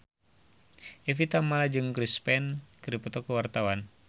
Evie Tamala jeung Chris Pane keur dipoto ku wartawan